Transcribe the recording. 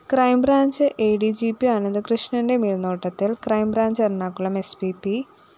crime branch A D G P അനന്തകൃഷ്ണന്റെ മേല്‍നോട്ടത്തില്‍ crime branch Ernakulam S P P